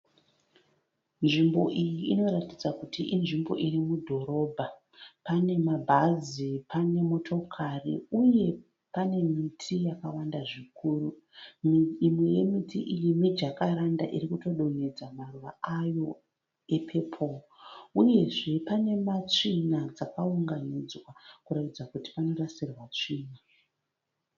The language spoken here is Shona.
Nzvimbo iyi inoratidza kuti inzvimbo irimudhorobha. Panemabhazi pane motokari uye panemiti yakawanda zvikuru. Imwe yemiti iyi mijakaranda irikutodonhedza maruva ayo epepoo. Uyezve panematsvina akaunganidzwa kuratidza kuti panorasirwa tsvina.